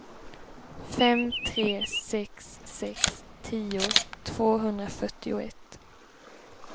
fem tre sex sex tio tvåhundrafyrtioett